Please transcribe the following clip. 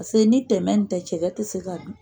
Pase ni tɛmɛ nin tɛ cɛkɛ tɛ se ka dun.